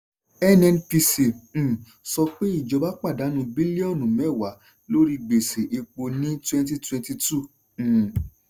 nnpc um sọ pé ìjọba pàdánù bílíọ́nù mẹ́wàá lóri gbèṣè epo ní twenty twenty two um